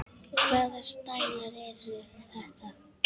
Hvaða stælar eru þetta?